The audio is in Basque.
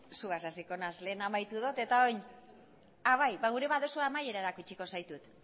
zugaz hasiko naiz lehen amaitu dut eta orain nahi baduzu amaierarako utziko zaitut